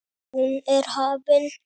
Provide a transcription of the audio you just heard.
Hún er hafin.